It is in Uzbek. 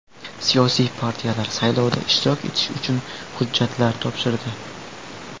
Siyosiy partiyalar saylovda ishtirok etish uchun hujjatlar topshirdi.